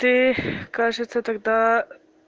ты кажется тогда